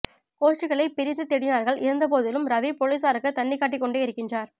கோஷ்டிகளை பிரிந்து தேடினார்கள் இருந்த போதிலும் ரவி பொலிஸாருக்கு தண்ணிகாட்டிக்கொண்டே யிருக்கின்றார்